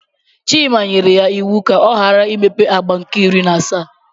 Chima nyere ya iwu ka ọ ghara imepe agba nke iri na asaa.